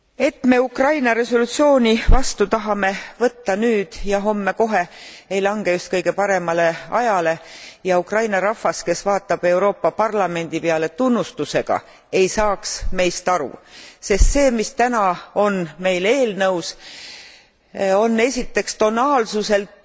Et me Ukraina resolutsiooni vastu tahame võtta nüüd ja homme kohe, ei lange just kõige paremale ajale ja Ukraina rahvas, kes vaatab Euroopa Parlamendi peale tunnustusega, ei saaks meist aru. Sest see, mis täna on meil eelnõus, on esiteks tonaalsuselt